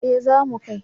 Eh za mu kai